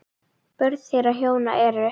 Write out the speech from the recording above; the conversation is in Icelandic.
Börn þeirra hjóna eru